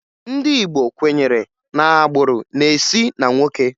Ndị Igbo kwenyere na agbụrụ na-esi na nwoke